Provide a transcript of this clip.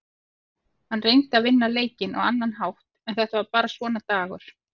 Hann reyndi að vinna leikinn á annan hátt en þetta var bara svona dagur.